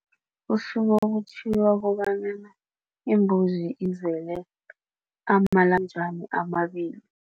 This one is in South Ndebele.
Kusuke kuthiwa kobanyana imbuzi izele amalamjani amabili.